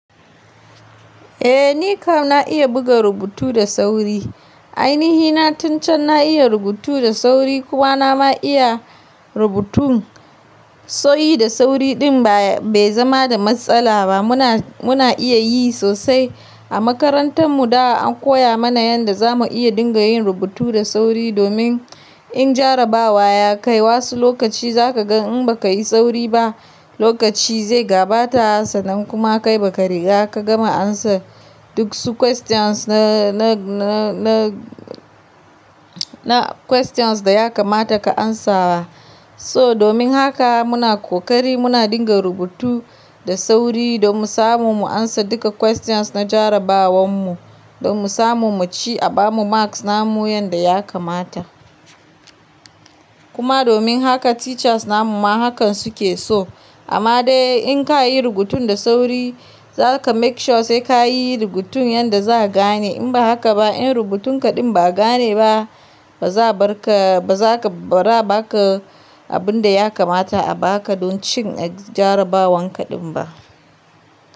Eh ni kam na iya buga rubutu da sauri. Ainihi na tun can na iya rubutu da sauri kuma na ma iya rubutun so yi da sauri din bai zama da matsala ba. Muna, muna iya yi sosai. A makarantar mu da an koya mana yanda za mu iya dinga yin rubutu da sauri domin in jarrabawa ya kai wasu lokaci za ka ga in ba ka yi sauri ba lokaci zai gabata haka sanan kuma kai ba ka riga ka gama amsa duk su questions na, na, na, na questions da ya kamata ka amsawa. So domin haka muna kokari muna dinga rubutu da sauri domin samu mu amsa duka questions na jarrabawan mu, domin samu mu ci abamu marks namu yanda ya kamata. Kuma domin haka teachers namu ma hakan su ke so. Amma dai in ka yi rubutun da sauri za ka make sure sai ka yi rubutun yanda za'a gane. In ba haka ba in rubutun ka din ba'a gane ba ba za barka, ba za ka, ba za a baka abun da ya kamata a baka don ci a jarrabawan ka din ba.